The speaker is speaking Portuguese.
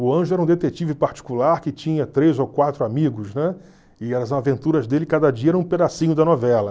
O Anjo era um detetive particular que tinha três ou quatro amigos, né, e as aventuras dele cada dia eram um pedacinho da novela.